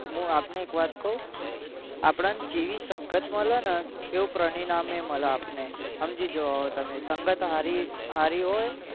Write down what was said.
મુ આપણે એક વાત કવ આપડ ન જેવી સંગત મલે ને એવું પરિણામેય મલે આપણે સમજી જાવ હવે તમે સંગત સારી હોય